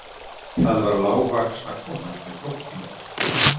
Það var lágvaxna konan með krókódílinn.